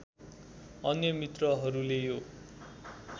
अन्य मित्रहरूले यो